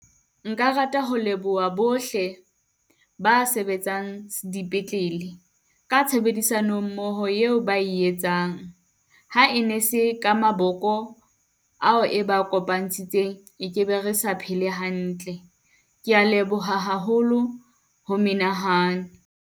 Nka rata ho leboha bohle ba sebetsang dipetlele ka tshebedisano mmoho eo ba e etsang. Ha e ne se ka maboko ao, e ba e ke be re sa phele hantle. Ke ya leboha haholo ho menahane.